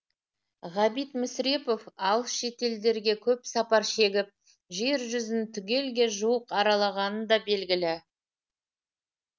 ғабит мүсірепов алыс шетелдерге көп сапар шегіп жер жүзін түгелге жуық аралағаны да белгілі